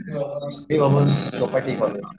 a college